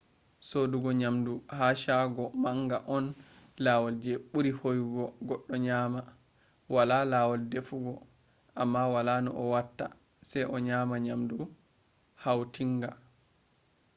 sodugo nyamdu ha shago manga on lawol je buri hoyugo goddo nyama. wala lawol defugo amma wala no a watta se a nyama nyamdu hautinga